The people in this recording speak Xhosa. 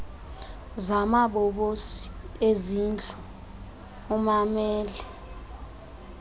zamabobosi ezindlu ummamele